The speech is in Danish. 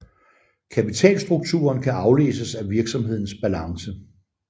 Kapitalstrukturen kan aflæses af virksomhedens balance